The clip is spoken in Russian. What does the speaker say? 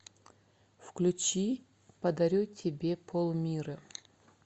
включи подарю тебе полмира